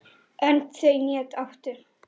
Önd þau né áttu